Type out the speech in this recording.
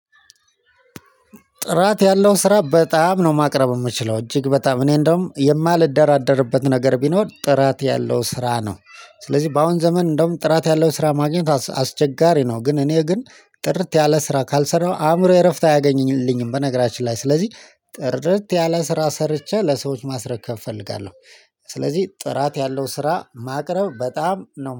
ጥራት ያለው ስራ በጣም ነው ማቅረብ የምችለው እጅግ በጣም እኔ እንደውም የማልደራደርበት ነገር ቢኖር ጥራት ያለው ስራ ነው። ስለዚህ በአሁን ዘመን እንደውም ጥራት ያለው ስራ ማግኘት አስቸጋሪ ነው። ግን እኔ ግን ጥርት ያለ ስራ ካልሰራሁ አእምሮዬ እረፍት አያገኝልኝም። በነገራችን ላይ ስለዚህ ጥርት ያለ ስራ ሰርቼ ለሰዎች ማስረከብ እፈልጋለሁ። ስለዚህ ጥራት ያለው ስራ ማቅረብ በጣም ነው